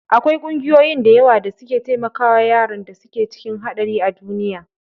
Akwai ƙungiyoyi da yawa da suke taimakawa yaran da suke cikin haɗari a duniya.